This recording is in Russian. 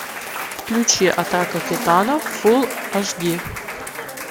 включи атака титанов фул аш ди